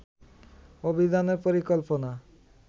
অভিযানের পরিকল্পনা